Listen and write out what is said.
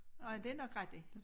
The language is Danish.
Og det nok rigtig